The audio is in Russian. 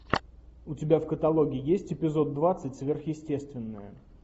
у тебя в каталоге есть эпизод двадцать сверхъестественное